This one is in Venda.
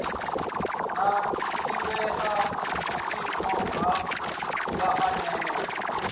na ḓivhea vhuimoni ha vhaanewa